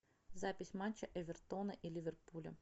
запись матча эвертона и ливерпуля